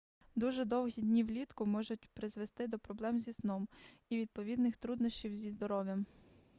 дуже довгі дні влітку можуть призвести до проблем зі сном і відповідних труднощів зі здоров'ям